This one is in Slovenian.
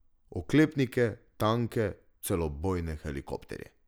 Oklepnike, tanke, celo bojne helikopterje.